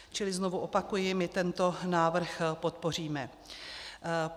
Čili znovu opakuji, my tento návrh podpoříme.